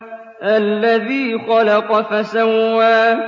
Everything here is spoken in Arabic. الَّذِي خَلَقَ فَسَوَّىٰ